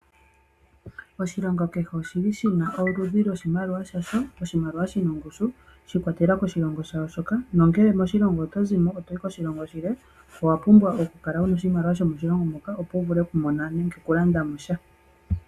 Oshilongo kehe oshi li shi na oludhi lwoshimaliwa shasho. Oshimaliwa shi na ongushu, shi ikwatelela koshilongo sha wo shoka, nongele moshilongo oto zi mo to yi koshilongo shilwe, owa pumbwa okukala wu na oshimaliwa sho moshilongo moka opo wu vule okumona nenge okulanda mo sha.